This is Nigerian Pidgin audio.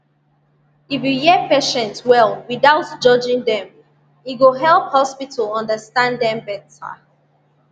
if you hear patients well without judging dem e go help hospital understand dem better